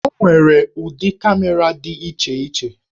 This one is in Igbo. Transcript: O nwere ụdị kamera dị iche iche.